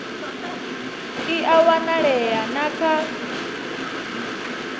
i a wanalea na kha